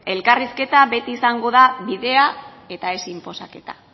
elkarrizketa beti izango da bidea eta ez inposaketa